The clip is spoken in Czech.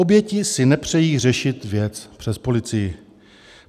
Oběti si nepřejí řešit věc přes policii.